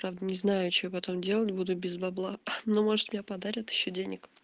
правда не знаю что я потом делать буду без бабла ну может мне подарят ещё денег